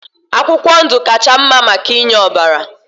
Akwụkwọ ndụ kacha mma maka inye ọbara